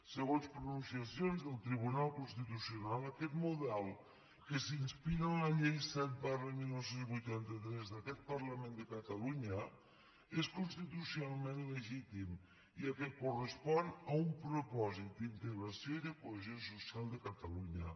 segons pronunciacions del tribunal constitucional aquest model que s’inspira en la llei set dinou vuitanta tres d’aquest parlament de catalunya és constitucionalment legítim ja que correspon a un propòsit d’integració i de cohesió social de catalunya